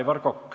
Aivar Kokk.